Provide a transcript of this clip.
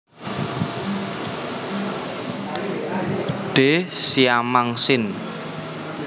D siamang sin